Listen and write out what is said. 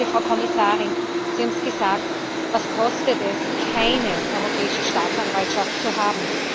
Sehr geehrte Frau Kommissarin, Sie haben es gesagt Was kostet es, keine Europäische Staatsanwaltschaft zu haben?